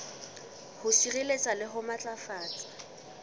ho sireletsa le ho matlafatsa